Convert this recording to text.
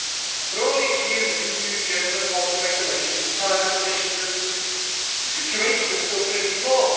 After all these years of EU gender equality regulations, targets, and initiatives, the situation is still pretty poor.